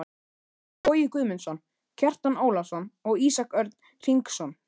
Bogi Guðmundsson, Kjartan Ólafsson og Ísak Örn Hringsson.